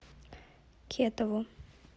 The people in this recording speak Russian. кетову